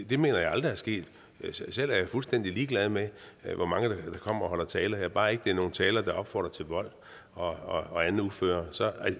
det mener jeg aldrig er sket selv er jeg fuldstændig ligeglad med hvor mange der kommer og holder tale her bare det ikke er nogen taler der opfordrer til vold og andet uføre